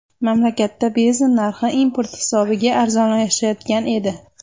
Mamlakatda benzin narxi import hisobiga arzonlashayotgan edi.